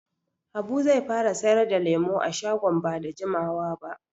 Habu zai fara sayar da lemu a shagon ba da jimawa ba.